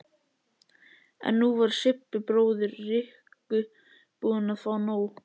En nú var Sibbi bróðir Rikku búinn að fá nóg.